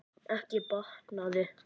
Ekki batnaði það!